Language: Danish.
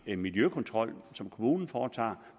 en miljøkontrol som kommunen foretager